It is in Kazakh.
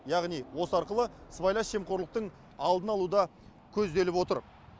яғни осы арқылы сыбайлас жемқорлықтың алдын алу да көзделіп отыр